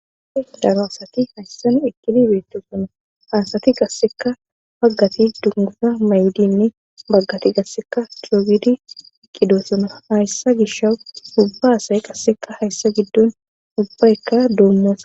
afe dabaasati hayssan iqili beetto suna haasati qasseka paggati dungusa mayidinni baggati gasseka tiloogidi iqqido suna hayssa gisha ubba asay qasseka hayssa giddun ubbaykka doonosa